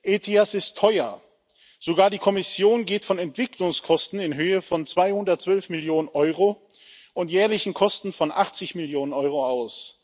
ETIAS ist teuer Sogar die Kommission geht von Entwicklungskosten in Höhe von 212 Millionen Euro und jährlichen Kosten von 80 Millionen Euro aus.